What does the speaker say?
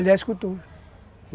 Ele era escultor.